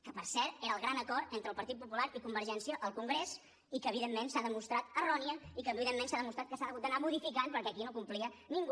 que per cert era el gran acord entre el partit popular i convergència al congrés i que evidentment s’ha demostrat errònia i que evidentment s’ha demostrat que s’ha hagut d’anar modificant perquè aquí no complia ningú